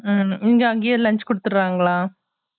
உம் எங்க அங்கேயே lunch குடுத்துராங்களா